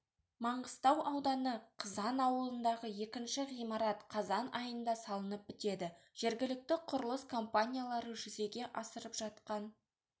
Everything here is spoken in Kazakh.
маңғыстау ауданы қызан ауылындағы екінші ғимарат қазан айында салынып бітеді жергілікті құрылыс компаниялары жүзеге асырып жатқан